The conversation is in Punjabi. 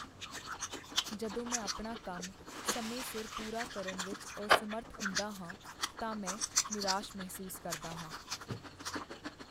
ਜਦੋਂ ਮੈਂ ਆਪਣਾ ਕੰਮ ਸਮੇਂ ਸਿਰ ਪੂਰਾ ਕਰਨ ਵਿੱਚ ਅਸਮਰੱਥ ਹੁੰਦਾ ਹਾਂ ਤਾਂ ਮੈਂ ਨਿਰਾਸ਼ ਮਹਿਸੂਸ ਕਰਦਾ ਹਾਂ।